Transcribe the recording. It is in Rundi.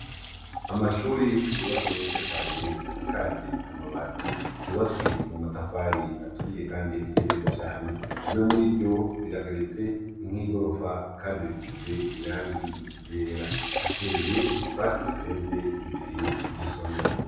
Amashure yubatse neza cane asakaje amabati yubatswe mumatafari aturiye Kandi ahiye neza cane. Rimwe muriryo rirageretse, ni nkigorofa Kandi risize irangi ryera. Hateye utwatsi turemvye imbere yiryo somero .